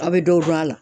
A bɛ dɔw don a la